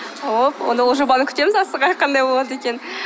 ооо онда ол жобаны күтеміз асыға қандай болады екенін